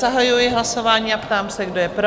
Zahajuji hlasování a ptám se, kdo je pro?